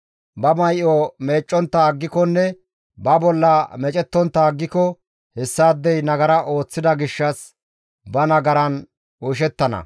Ba may7o meeccontta aggikonne ba bolla meecettontta aggiko hessaadey nagara ooththida gishshas ba nagaran oyshettana.»